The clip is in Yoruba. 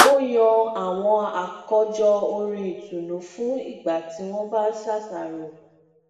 ó yan awọn akọjọ orin itunnu fún ígbà tí wón bá ń ṣàṣàrò